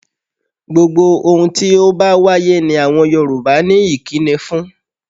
Gbogbo ohun tí ó bá wáyé ni àwọn Yorùbá ní ìkíni fún.